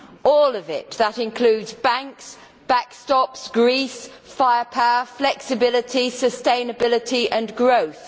All of it that includes banks, backstops, Greece, firepower, flexibility, sustainability and growth.